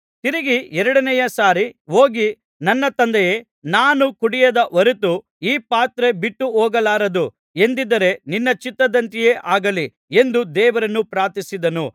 ತಿರುಗಿ ಎರಡನೇ ಸಾರಿ ಹೋಗಿ ನನ್ನ ತಂದೆಯೇ ನಾನು ಕುಡಿಯದ ಹೊರತು ಈ ಪಾತ್ರೆ ಬಿಟ್ಟುಹೋಗಲಾರದು ಎಂದಿದ್ದರೆ ನಿನ್ನ ಚಿತ್ತದಂತೆಯೇ ಆಗಲಿ ಎಂದು ದೇವರನ್ನು ಪ್ರಾರ್ಥಿಸಿದನು